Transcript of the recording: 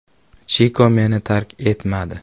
“Chiko meni tark etmadi.